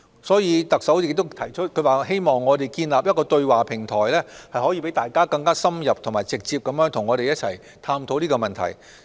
所以，特首亦提出，希望建立一個對話平台，可以讓大家更深入及直接地與我們一同探討這些問題。